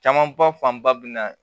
Caman ba fan ba bɛ na